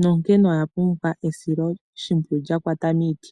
nonkene oyapumbwa esilo shimpwiyu lyakwata miiti.